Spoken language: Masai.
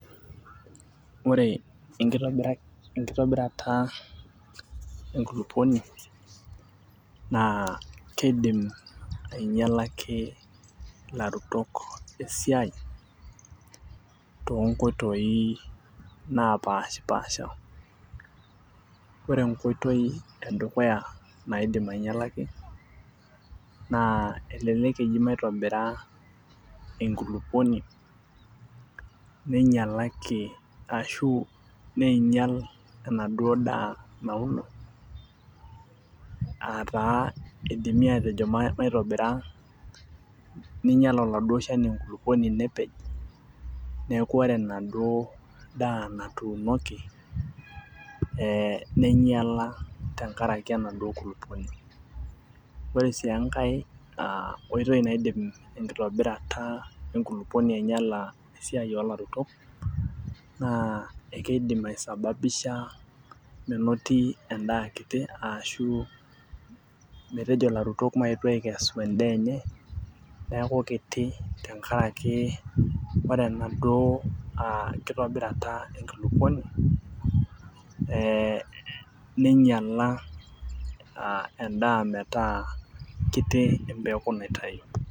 ore enkitobirata enkulupuni, naa keidim aing'ialaki ilarutok esiai, too nkoitoi naapashipaasha. ore enkoitoi edukuya naidim aing'ialaki naa elelk eji maitobira enkulupuoni, neing'ialaki ashu neing'ial ena duo daa nauno aa taa idimi atejo maitobira ning'ial oladuo shani enkulupuoni nepej. neeku ore ina duo daa natuunoki ning'iala te nkaraki enaduo kulupuoni. ore sii enkae aa oitoi naidim enkitobirata enkulupuoni aing'iala esiai oolariko naa ekidim aisababisha menoti edaa aa kiti aashu, metejo larutok mayetu aikesu edaa enye, neeku kiti tenkaraki ore enaduo aakitobirata enkulupuoni ning'iala, edaa metaa kiti empeku naitayu.